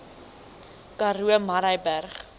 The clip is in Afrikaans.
karoo murrayburg